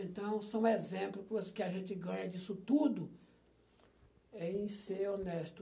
Então, são exemplos que a gente ganha disso tudo é em ser honesto.